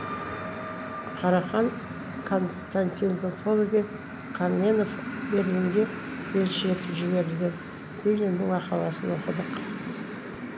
карахан константинопольге каменев берлинге елші етіп жіберілген лениннің мақаласын оқыдық